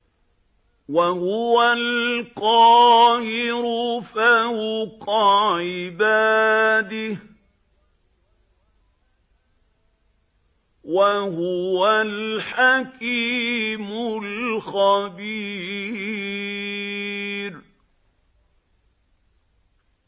وَهُوَ الْقَاهِرُ فَوْقَ عِبَادِهِ ۚ وَهُوَ الْحَكِيمُ الْخَبِيرُ